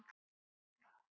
Björn: Styttist í það?